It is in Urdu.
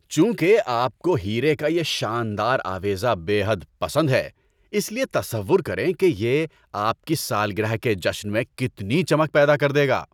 چونکہ آپ کو ہیرے کا یہ شاندار آویزہ بے حد پسند ہے اس لیے تصور کریں کہ یہ آپ کی سالگرہ کے جشن میں کتنی چمک پیدا کر دے گا۔